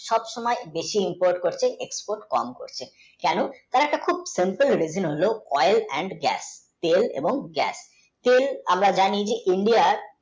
সব সময় বেশি resource হচ্ছে export তাই তার একটা simple, review হোলো oil and gas তেল এবং gas তেল আমরা জানি India